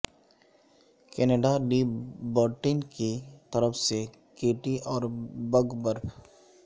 Canada لی برٹن کی طرف سے کیٹی اور بگ برف